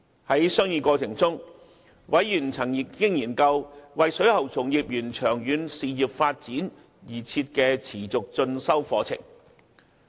在商議過程中，委員曾研究為水喉從業員長遠事業發展而設的持續進修課程。